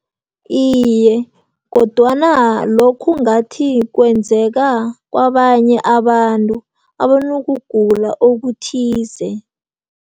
Iye, kodwana lokhu ngathi kwenzeka kwabanye abantu abanokugula okuthize.